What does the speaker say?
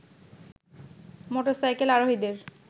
motorcycle আরোহীদের